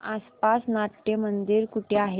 आसपास नाट्यमंदिर कुठे आहे